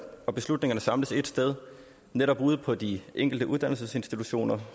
og beslutningerne samles ét sted netop ude på de enkelte uddannelsesinstitutioner